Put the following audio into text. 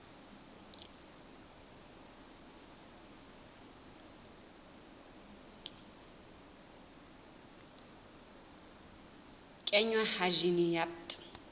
kenngwa ha jine ya bt